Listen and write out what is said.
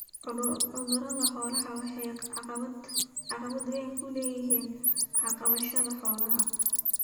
Cudurada xooluhu waxay caqabad weyn ku yihiin dhaqashada xoolaha.